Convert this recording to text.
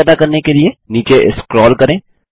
π पता करने के लिए नीचे स्क्रोल करें